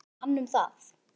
En hann um það.